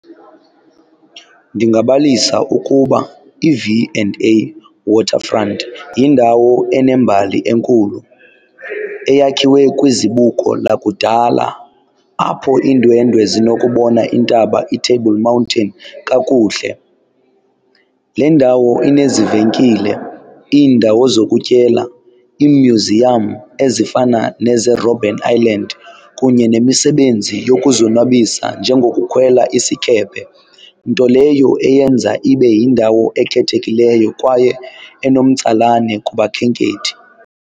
Ndingabalisa ukuba iV and A Waterfront yindawo enembali enkulu eyakhiwe kwizibuko lakudala apho iindwendwe zinokubona intaba iTable Mountain kakuhle. Le ndawo inezivenkile, iindawo zokutyela, imyuziyam ezifana nezeeRobben Island kunye nemisebenzi yokuzonwabisa njengokukhwela isikephe. Nto leyo eyenza ibe yindawo ekhethekileyo kwaye enomtsalane kubakhenkethi.